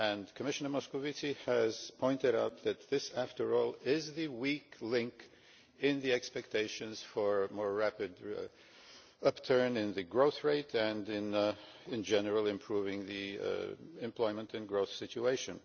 Commissioner Moscovici has pointed out that this, after all, is the weak link in the expectations for a more rapid upturn in the growth rate and, in general, improving the employment and growth situation.